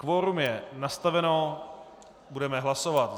Kvorum je nastaveno, budeme hlasovat.